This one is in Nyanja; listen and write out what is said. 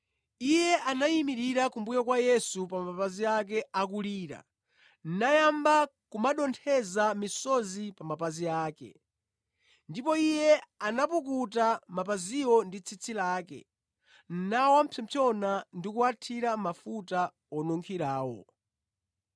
Iye anayimirira kumbuyo kwa Yesu pa mapazi ake akulira, nayamba kumadontheza misozi pa mapazi ake. Ndipo iye anapukuta mapaziwo ndi tsitsi lake, nawapsompsona ndi kuwathira mafuta onunkhirawo.